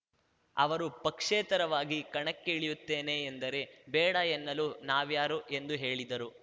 ಅವರು ಪಕ್ಷೇತರವಾಗಿ ಕಣಕ್ಕೆ ಇಳಿಯುತ್ತೇನೆ ಎಂದರೆ ಬೇಡ ಎನ್ನಲು ನಾವ್ಯಾರು ಎಂದು ಹೇಳಿದರು